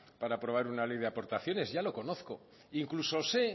para aprobar una ley de aportaciones ya lo conozco incluso sé